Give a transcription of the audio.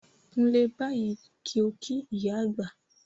Kúnlẹ̀ báyìí kí ó kí ìyá àgbà!